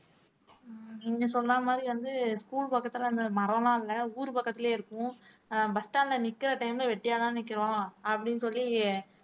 உம் நீங்க சொன்ன மாதிரி வந்து school பக்கத்துல அந்த மரம் எல்லாம் இல்லை ஊர் பக்கத்திலேயே இருக்கும் ஆஹ் bus stand ல நிக்கிற time ல வெட்டியாதான் நிக்கிறோம் அப்படின்னு சொல்லி